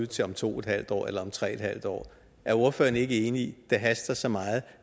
til om to en halv år eller tre en halv år er ordføreren ikke enig i det haster så meget